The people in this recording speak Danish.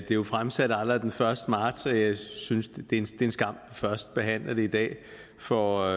jo fremsat allerede den første marts og jeg synes det er en skam at vi først behandler det i dag for